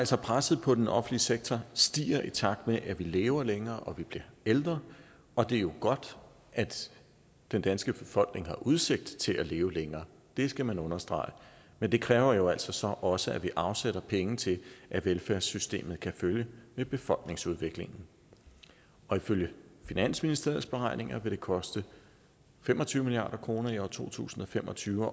så presset på den offentlige sektor stiger altså i takt med at vi lever længere og vi bliver ældre og det er jo godt at den danske befolkning har udsigt til at leve længere det skal man understrege men det kræver jo så så også at vi afsætter penge til at velfærdssystemet kan følge med befolkningsudviklingen og ifølge finansministeriets beregninger vil det koste fem og tyve milliard kroner i år to tusind og fem og tyve